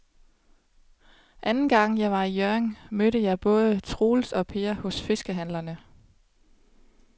Anden gang jeg var i Hjørring, mødte jeg både Troels og Per hos fiskehandlerne.